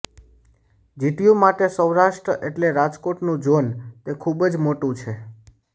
GTU માટે સૌરાષ્ટ્ર એટલે રાજકોટનું ઝોન તે ખૂબ જ મોટુ છે